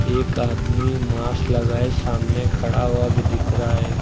एक आदमी मास्क लगाए सामने खड़ा हुआ भी दिख रहा है।